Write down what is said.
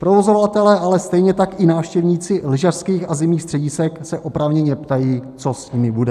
Provozovatelé, ale stejně tak i návštěvníci lyžařských a zimních středisek se oprávněně ptají, co s nimi bude.